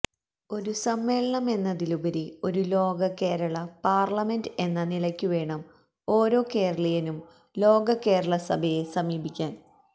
ഒരു സമ്മേളനമെന്നതിലുപരി ഒരു ലോക കേരള പാർലമെന്റ് എന്ന നിലയ്ക്കുവേണം ഓരോ കേരളീയനും ലോക കേരളസഭയെ സമീപിക്കാൻ